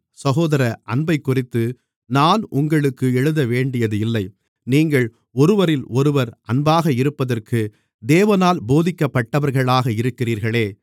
சகோதர அன்பைக்குறித்து நான் உங்களுக்கு எழுதவேண்டியதில்லை நீங்கள் ஒருவரிலொருவர் அன்பாக இருப்பதற்கு தேவனால் போதிக்கப்பட்டவர்களாக இருக்கிறீர்களே